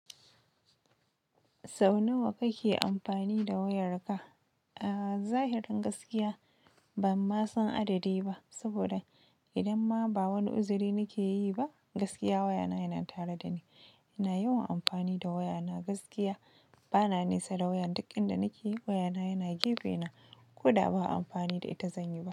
Sau nawa kake amfani da wayarka? A zahirin gaskiya ban ma san adadi ba, saboda idan ma ba wani uzuri nake yi ba gaskiya wayana yana tare dani. Ina yawan amfani da wayana, gaskiya bana nesa da wayan, duk inda nake yi wayana yana gefe na. Koda ba amfani da ita zan yi ba.